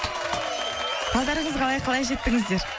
қалдарыңыз қалай қалай жеттіңіздер